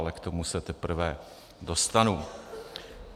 Ale k tomu se teprve dostanu.